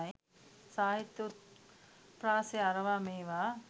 සාහිත්‍යය උත්ප්‍රාසය අරවා මේවා